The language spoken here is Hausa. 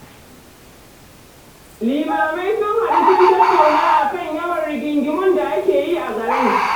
Limamai sun haɗu sun tattauna a kan yawan rigingimu da ake yi a garin